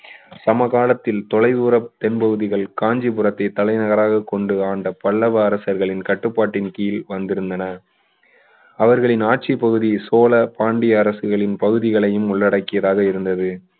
சமகாலத்தில் தொலைதூர தென்பகுதிகள் காஞ்சிபுரத்தை தலைநகராக கொண்டு ஆண்ட பல்லவரசர்களின் கட்டுப்பாட்டின் கீழ் வந்திருந்தன அவர்களின் ஆட்சி பகுதி சோழ பாண்டிய அரசுகளின் பகுதிகளையும் உள்ளடக்கிய பகுதிகளாக இருந்தது